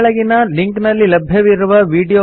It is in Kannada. ಈ ಕೆಳಗಿನ ಲಿಂಕ್ ನಲ್ಲಿ ಲಭ್ಯವಿರುವ ವೀಡಿಯೊ ನೋಡಿ